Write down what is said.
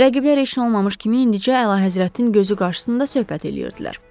Rəqiblər heç nə olmamış kimi indicə əlahəzrətin gözü qarşısında söhbət eləyirdilər.